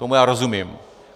Tomu já rozumím.